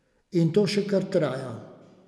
In to še kar traja.